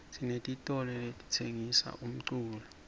sinetitolo letitsengisa umculo